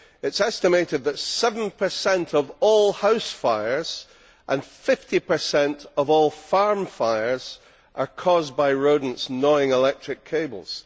It is estimated that seven per cent of all house fires and 50 per cent of all farm fires are caused by rodents gnawing electric cables.